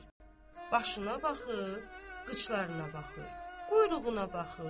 Başına baxır, qıçlarına baxır, quyruğuna baxır.